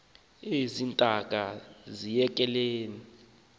ezi ntaka aziyekelani